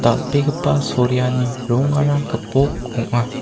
dal·begipa soreani rongara gipok ong·a.